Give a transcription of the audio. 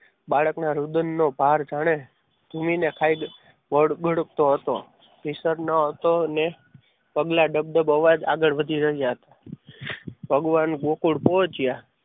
બાળકના રુદનનો ભાવ જ્યારે ભૂમિને કાયદો ઘડઘડતો હતો ને પગલા ડબ ડબ અવાજ આગળ વધી રહ્યા હતા. ભગવાન ગોકુળ પહોંચ્યા.